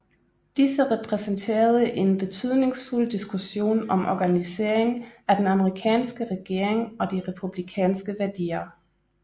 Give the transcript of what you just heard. Disse repræsenterede en betydningsfuld diskussion om organiseringen af den amerikanske regering og de republikanske værdier